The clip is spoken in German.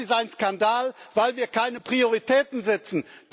Das ist ein Skandal, weil wir keine Prioritäten setzen!